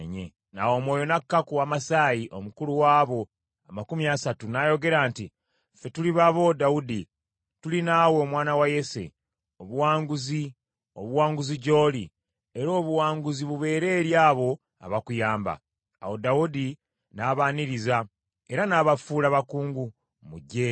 Awo Omwoyo n’aka ku Amasayi, omukulu w’abo amakumi asatu, n’ayogera nti, “Ffe tuli babo, Dawudi! Tuli naawe, Omwana wa Yese! Obuwanguzi, Obuwanguzi gy’oli; era Obuwanguzi bubeere eri abo abakuyamba, kubanga Katonda wo ajja kukubeera.” Awo Dawudi n’abaaniriza era n’abafuula bakungu mu ggye lye.